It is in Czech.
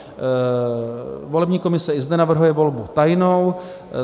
Volební komise i zde navrhuje volbu tajnou.